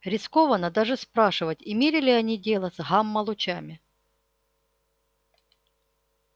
рискованно даже спрашивать имели ли они дело с гамма-лучами